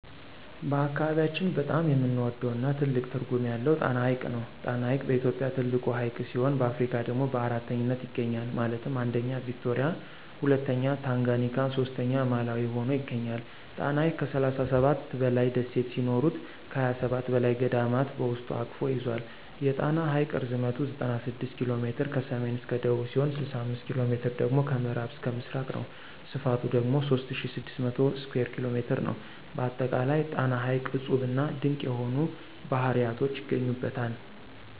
በአካባቢያችን በጣም የምንወደው እና ትልቅ ትርጉም ያለው ጣና ሐይቅ ነው። ጣና ሐይቅ በኢትዮጵያ ትልቁ ሀይቅ ሲሆን በአፍሪካ ደግሞ በአራተኛነት ይገኛል ማለትም 1ኛ ቪክቶሪያ 2ኛ ታንጋኒካ 3ኛ ማላዊ ሁኖ ይገኛል። ጣና ሐይቅ ከ37 በላይ ደሴት ሲኖሩት ከ27 በላይ ገዳማት በውስጡ አቅፎ ይዞል። የጣና ሐይቅ ርዝመት 96 ኪ.ሜ ከሰሜን እስከ ደቡብ ሲሆን 65ኪ.ሜ ደግሞ ከምዕራብ እስከ ምስራቅ ነው። ስፍቱ ደግሞ 3600 ስኩየር ኪ.ሜ ነው። በአጠቃላይ ጣና ሐይቅ እፁብና ድንቅ የሆኑ ባህርያቶች ይገኙበታል።